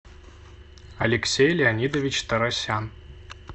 алексей леонидович тарасян